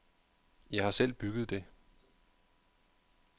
Jeg har selv bygget det.